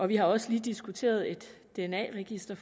vi har også lige diskuteret et dna register